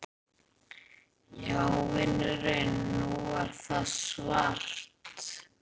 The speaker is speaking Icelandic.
Já vinurinn. nú er það svart!